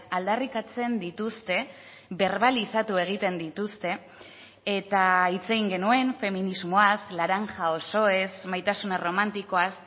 aldarrikatzen dituzte berbalizatu egiten dituzte eta hitz egin genuen feminismoaz laranja osoez maitasun erromantikoaz